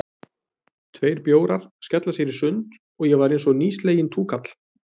Tveir bjórar, skella sér í sund, og ég var einsog nýsleginn túkall.